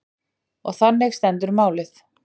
Og þannig stendur málið.